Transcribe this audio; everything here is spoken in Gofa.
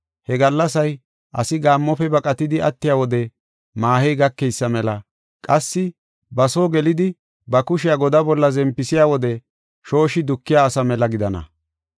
He gallasay asi gaammofe baqatidi attiya wode maahey gakeysa mela qassi ba soo gelidi, ba kushiya godaa bolla zempisiya wode shooshi dukiya asa mela gidana.